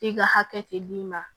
I ka hakɛ te d'i ma